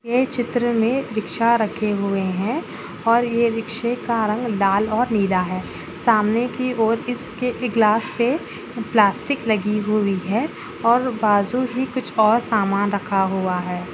ये चित्र मे रिक्शा रखे हुए है और ये रिक्शे का रंग लाल और नीला है सामने की ओर इसके ग्लास पे प्लास्टिक लगी हुई है और बाजू भी कुछ और सामान रखा हुआ है।